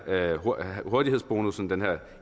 hurtighedsbonussen den her